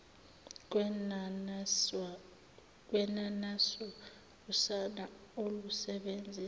kwenaniswa usana olusebenzisa